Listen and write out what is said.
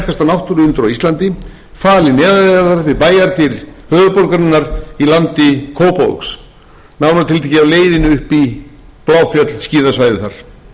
náttúruundur á íslandi falinn neðanjarðar við bæjardyr höfuðborgarinnar í landi kópavogs nánar tiltekið á leiðinni upp í bláfjöll skíðasvæðið þar þríhnjúkahellir er einstakt náttúruundur á heimsmælikvarða